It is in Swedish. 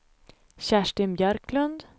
Kerstin Björklund